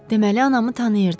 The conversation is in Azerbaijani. Deməli anamı tanıyırdız.